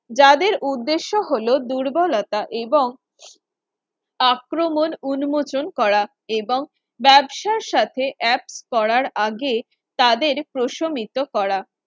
যাদের উদ্দেশ্য হলো দুর্বলতা এবং আক্রমণ উন্মোচন করা এবং ব্যবসার সাথে app করার আগে তাদের প্রশমিত করা